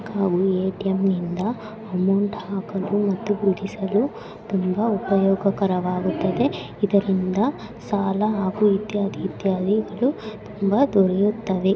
ಹಾಗೂ ಎ.ಟಿ.ಎಂ ನಿಂದ ಅಮೌಂಟ್ ಹಾಕಲು ಮತ್ತು ತುಂಬಾ ಉಪಯೋಗಕರ ವಾಗುತದೆ ಇದರಿಂದ ಸಾಲ ಹಾಗೂ ಇತ್ಯಾದಿ ಇತ್ಯಾದಿಗಳು ತುಂಬಾ ದೊರೆಯುತ್ತದೆ.